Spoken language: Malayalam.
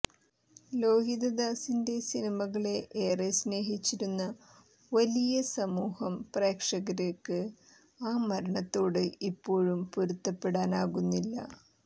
ലോഹിതദാസിന്റെ സിനിമകളെ ഏറെ സ്നഹിച്ചിരുന്ന വലിയ സമൂഹം പ്രേക്ഷകര്ക്ക് ആ മരണത്തോട് ഇപ്പോഴും പൊരുത്തപ്പെടാനാകുന്നില്ല